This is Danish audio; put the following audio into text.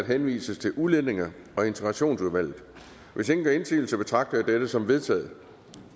henvises til udlændinge og integrationsudvalget hvis ingen gør indsigelse betragter jeg dette som vedtaget